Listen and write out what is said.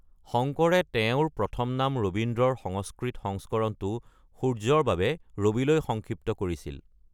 শংকৰে তেওঁৰ প্ৰথম নাম ৰবীন্দ্ৰৰ সংস্কৃত সংস্কৰণটো "সূৰ্য"ৰ বাবে ৰবিলৈ সংক্ষিপ্ত কৰিছিল।